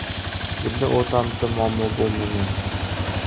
Bizning o‘rtamizda muammo bo‘lmagan.